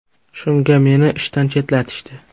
Shunga meni ishdan chetlatishdi.